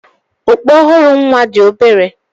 Okpu ọhụrụ nwa dị obere.